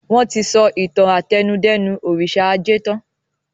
Wọn tí sọ ìtàn àtẹnudẹ́nu òrìṣà ajé tan